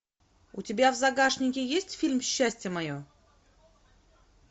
у тебя в загашнике есть фильм счастье мое